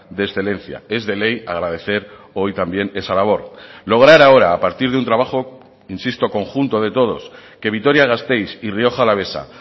de excelencia es de ley agradecer hoy también esa labor lograr ahora a partir de un trabajo insisto conjunto de todos que vitoria gasteiz y rioja alavesa